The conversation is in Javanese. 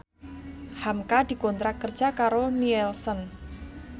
hamka dikontrak kerja karo Nielsen